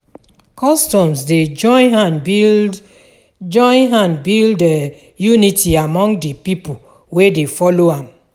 Customs dey join hand build join hand build um unity among de pipo wey dey follow am.